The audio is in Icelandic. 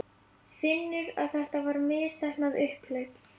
Finnur að þetta var misheppnað upphlaup.